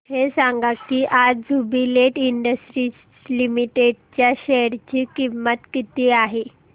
हे सांगा की आज ज्युबीलेंट इंडस्ट्रीज लिमिटेड च्या शेअर ची किंमत किती आहे